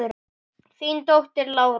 Þín dóttir, Lára.